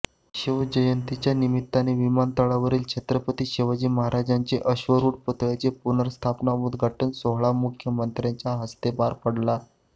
शिवजयंतीच्या निमित्ताने विमानतळावरील छत्रपती शिवाजी महाराजांच्या अश्वारुढ पुतळ्याचा पुनर्स्थापना उद्घाटन सोहळा मुख्यमंत्र्यांच्या हस्ते पार पडला